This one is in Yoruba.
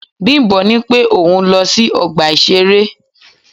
Bimbo ní pé òun ń lọ sí ọgbà ìṣeré.